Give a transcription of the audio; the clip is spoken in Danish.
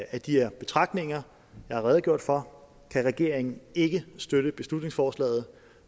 af de her betragtninger jeg har redegjort for kan regeringen ikke støtte beslutningsforslaget